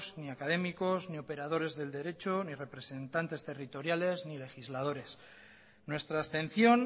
ni académicos ni operadores del derecho ni representantes territoriales ni legisladores nuestra abstención